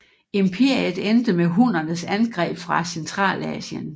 Imperiet endte med hunnernes angreb fra Centralasien